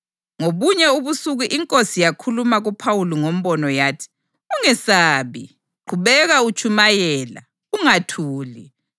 Ngobunye ubusuku iNkosi yakhuluma kuPhawuli ngombono yathi: “Ungesabi; qhubeka utshumayela, ungathuli.